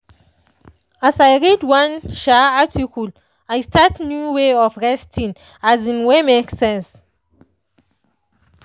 as i read one um article i start new way of resting um wey make sense.